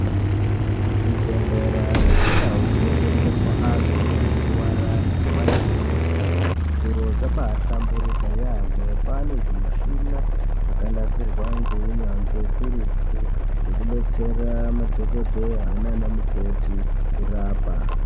Kuzvibhedhlera nekundau dzinobetserwa antu anorwara nemumakirinika ,zviro zvabaahlamburika yaamho. Kwaane zvimushina zvakanasirwa ngeunyanzvi ukurutu zvekubetsera madhokodheya naanamukoti kurapa.